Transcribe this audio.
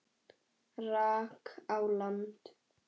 rak á land.